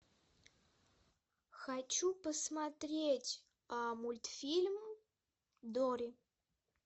хочу посмотреть мультфильм дори